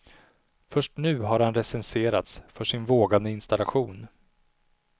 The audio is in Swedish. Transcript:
Först nu har han recenserats för sin vågade installation.